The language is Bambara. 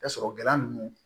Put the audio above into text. Tasɔrɔ gɛlɛya ninnu